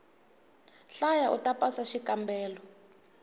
hlaya uta pasa xikambelo